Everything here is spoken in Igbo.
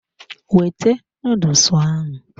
Wete noodles ahụ!